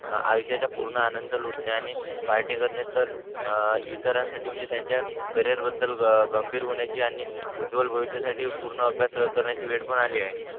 आयुष्याचा पूर्ण आनंद लुटणे आणि पार्टी करणे तर आणि इतरांसाठी म्हणजे त्यांच्या करिअर बद्दल गंभीर होण्याची आणि उज्वल भविष्यासाठी पूर्ण अभ्यास करताना जे दडपण आले हे